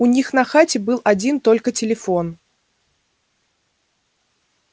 у них на хате был один только телефон